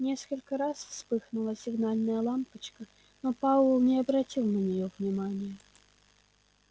несколько раз вспыхнула сигнальная лампочка но пауэлл не обратил на нее внимания